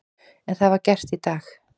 En það var gert í dag.